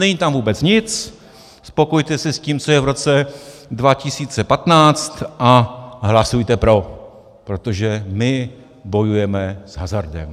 Není tam vůbec nic, spokojte se s tím, co je v roce 2015 a hlasujte pro, protože my bojujeme s hazardem.